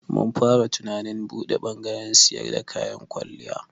Mun fara tunanin buɗe bangaren siyar da kayan kwalliya.